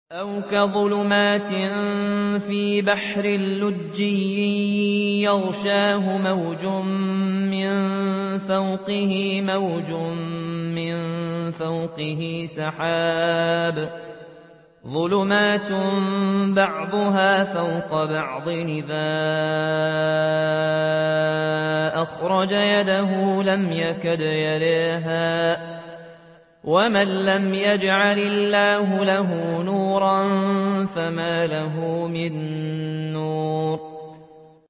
أَوْ كَظُلُمَاتٍ فِي بَحْرٍ لُّجِّيٍّ يَغْشَاهُ مَوْجٌ مِّن فَوْقِهِ مَوْجٌ مِّن فَوْقِهِ سَحَابٌ ۚ ظُلُمَاتٌ بَعْضُهَا فَوْقَ بَعْضٍ إِذَا أَخْرَجَ يَدَهُ لَمْ يَكَدْ يَرَاهَا ۗ وَمَن لَّمْ يَجْعَلِ اللَّهُ لَهُ نُورًا فَمَا لَهُ مِن نُّورٍ